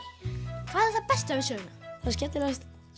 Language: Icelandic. hvað er það besta við söguna það skemmtilegasta